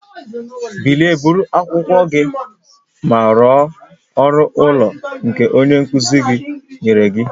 Bilie, buru akwụkwọ gị ma rụọ ọrụ ụlọ nke onye nkuzi gị nyere gị